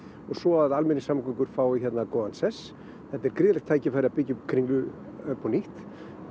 og svo að almenningssamgöngur fái hérna góðan sess þetta er gríðarlegt tækifæri til að byggja upp kringlu upp á nýtt